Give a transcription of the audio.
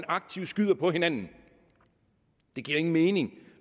aktivt skyder på hinanden det giver ingen mening